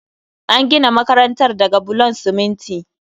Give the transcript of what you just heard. An gina makarantar daga bulon siminti